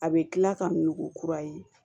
A bɛ kila ka nugu kura ye